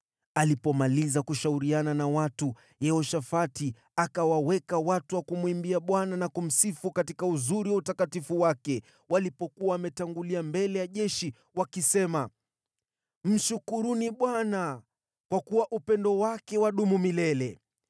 Alipomaliza kushauriana na watu, Yehoshafati akawaweka watu wa kumwimbia Bwana na kumsifu katika utukufu wa utakatifu wake walipokuwa wametangulia mbele ya jeshi, wakisema: “Mshukuruni Bwana kwa kuwa upendo wake wadumu milele.”